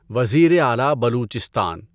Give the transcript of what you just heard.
وزیر اعلیٰ بلوچستان